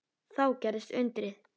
Þá gerðist undrið.